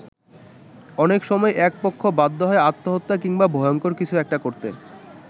অনেক সময় একপক্ষ বাধ্য হয় আত্মহত্যা কিংবা ভয়ঙ্কর কিছু একটা করতে।